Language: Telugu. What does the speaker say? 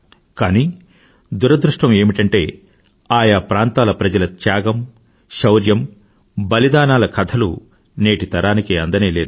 కానీ దురదృష్టం ఏమిటంటే ఆ యా ప్రాంతాల ప్రజల త్యాగం సౌర్యం బలిదానాల కథలు నేటి తరానికి అందనేలేదు